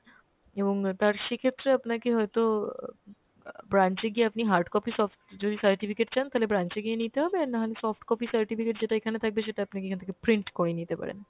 এবং তার সেক্ষেত্রে আপনাকে হয়তো আহ অ্যাঁ branch এ গিয়ে আপনি hard copy soft যদি certificate চান তালে branch এ গিয়ে নিতে হবে আর নাহলে soft copy certificate যেটা এখানে থাকবে সেটা আপনাকে এখান থেকে print করে নিতে পারেন।